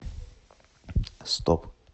стоп